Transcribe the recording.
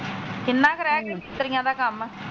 ਕਿੰਨਾ ਕ ਰਿਹ ਗਿਆ ਮਿਸਤਰੀਆਂ ਦਾ ਕੰਮ?